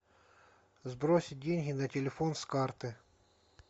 сбросить деньги на телефон с карты